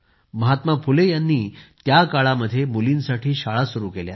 महात्मा फुले यांनी त्या काळामध्ये मुलींसाठी शाळा सुरू केल्या